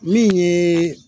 Min ye